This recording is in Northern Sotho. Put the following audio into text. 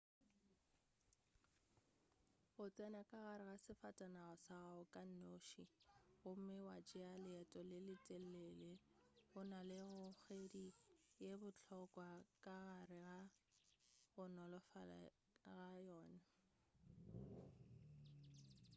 go tsena ka gare ga sefatanaga sa gago ka noši gomme wa tšeya leeto le le telele go na le kgogedi ye bohlokwa ka gare ga go nolofala ga gona